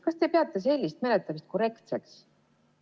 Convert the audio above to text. Kas te peate sellist menetlemist korrektseks?